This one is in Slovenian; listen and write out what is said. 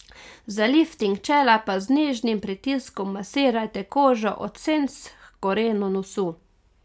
Za lifting čela pa z nežnim pritiskom masirajte kožo od senc h korenu nosu.